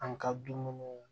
An ka dumuniw